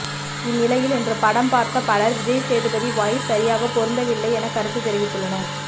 இந்நிலையில் இன்று படம் பார்த்த பலர் விஜய்சேதுபதி வாய்ஸ் சரியாக பொருந்தவில்லை என கருத்து தெரிவித்துள்ளனர்